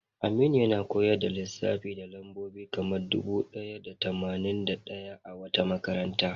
Aminu yana koyar da lissafi da lambobi kamar dubu ɗaya da tamanin da ɗaya a wata makaranta.